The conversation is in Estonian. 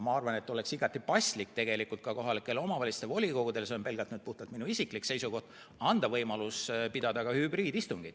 Ma arvan, et oleks igati paslik anda ka kohalike omavalitsuste volikogudele – see on puhtalt minu isiklik seisukoht – võimalus pidada hübriidistungit.